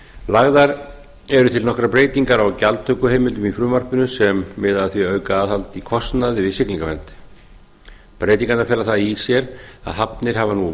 lagðar eru til nokkrar breytingar á gjaldtökuheimildum í frumvarpinu sem miða að því að auka aðhald í kostnaði við siglingavernd breytingarnar fela það í sér að hafnir hafa nú